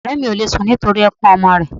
Ọ̀rẹ́ mi òle sun nítorí ẹkun ọmọ rẹ̀